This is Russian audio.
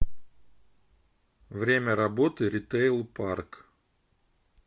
время работы ритейл парк